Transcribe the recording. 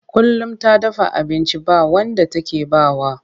Kullum ta dafa abinci ba wanda take ba wa.